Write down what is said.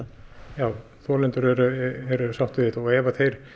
já þolendur eru sáttir við þetta og ef þeir